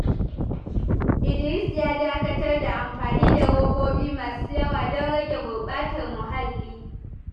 Idris ya dakatar da amfani da robobi masu yawa don rage gurbatar muhalli.